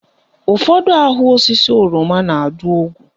Ụfọdụ ahụ osisi oroma na-adụ ogwu